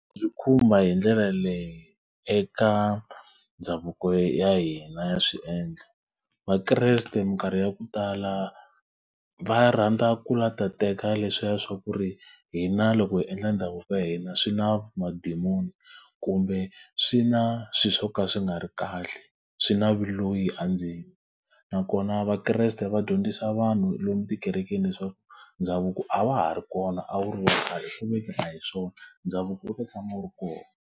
Byi khumba hi ndlela leyi eka ndhavuko ya hina ya swiendlo. Vakreste minkarhi ya ku tala va rhandza ku lava ku ta teka leswiya swa ku ri, hina loko hi endla ndhavuko wa hina swi na madimoni, kumbe swi na swilo swo ka swi nga ri kahle, swi na vuloyi andzeni. Nakona vakreste va dyondzisa vanhu lomu tikerekeni leswaku ndhavuko a wa ha ri kona a wu ri wa khale ku ve ke ni hi swona ndhavuko wu ta tshama u ri kona.